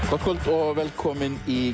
gott kvöld og velkomin í